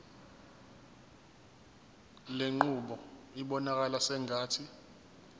lenqubo ibonakala sengathi